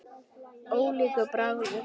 Ólíkur bragur.